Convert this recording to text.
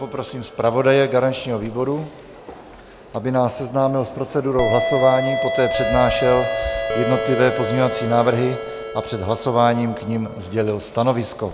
Poprosím zpravodaje garančního výboru, aby nás seznámil s procedurou hlasování, poté přednášel jednotlivé pozměňovací návrhy a před hlasováním k nim sdělil stanovisko.